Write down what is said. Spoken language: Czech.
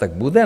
Tak bude?